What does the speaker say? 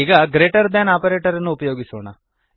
ಈಗ greater than operator ಅನ್ನು ಉಪಯೋಗಿಸೋಣ